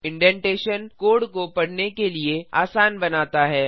indentation code को पढ़ना के लिए आसान बनाता है